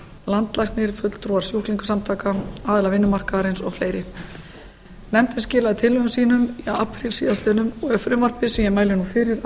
landlæknir fulltrúar sjúklingasamtaka aðila vinnumarkaðarins og fleiri nefndin skilaði tillögum sínum í apríl síðastliðinn og er frumvarpið sem ég mæli nú fyrir að